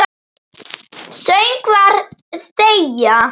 Söngvar þegja.